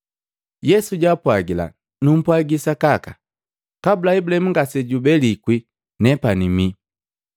Yesu jaapwagila, “Nupwagi sakaka, kabula Ibulahimu ngasejubelikwi, ‘Nena bii.’ ”